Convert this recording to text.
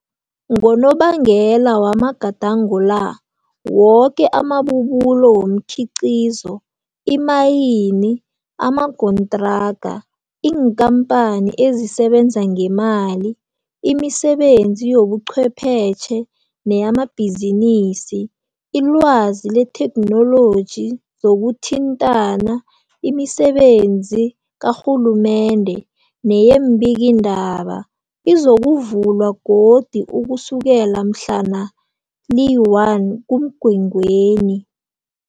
Ngonobangela wamagadango la, woke amabubulo womkhiqhizo, imayini, amagontraka, iinkampani ezisebenza ngemali, imisebenzi zobucwephetjhe neyamabhizinisi, ilwazi letheknoloji, zokuthintana, imisebenzi karhulumende neyeembikiindaba, izovulwa godu ukusukela mhlana li-1 kuMgwengweni.